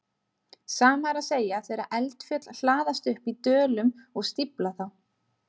Sama er að segja þegar eldfjöll hlaðast upp í dölum og stífla þá.